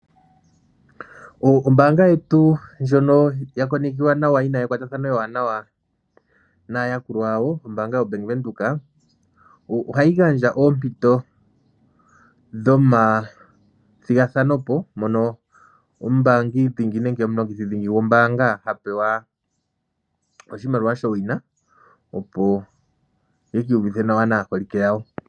Ombaanga yetu ndjono ya konekiwa nawa yina ekwatathano ewanawa naayakulwa yawo o Bank Windhoek, ohayi gandja oompito dhomathigathanopo mono omumbaangi dhingi nenge omulongithi gombaanga ha pewa oshimaliwa showina. Opo aka iyuvithe nawa naaholike yawo.